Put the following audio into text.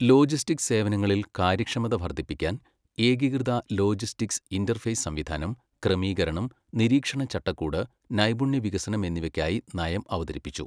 logistics സേവനങ്ങളിൽ കാര്യക്ഷമത വർധിപ്പിക്കാൻ ഏകീകൃത ലോജിസ്റ്റിക്സ് ഇന്റര്ഫേസ് സംവിധാനം, ക്രമീകരണം, നിരീക്ഷണചട്ടക്കൂട്, നൈപുണ്യവികസനം എന്നിവയ്ക്കായി നയം അവതരിപ്പിച്ചു